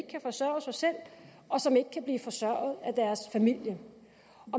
kan forsørge sig selv og som ikke kan blive forsørget af deres familie